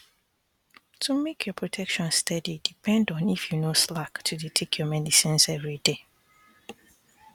to make your protection steady depend on if you no slack to dey take your medicines everyday